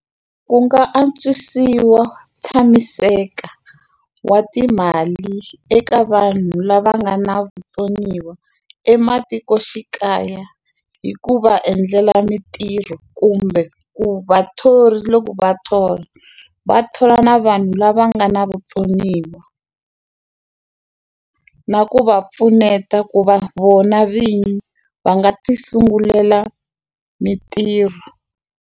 Ku nga antswisiwa tshamiseka wa timali eka vanhu lava nga na vutsoniwa ematikoxikaya hi ku va endlela mitirho kumbe ku vathori loko va thola va thola na vanhu lava nga na vutsoniwa na ku va pfuneta ku va vona vinyi va nga ti sungulela mintirho.